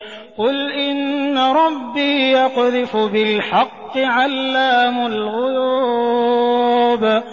قُلْ إِنَّ رَبِّي يَقْذِفُ بِالْحَقِّ عَلَّامُ الْغُيُوبِ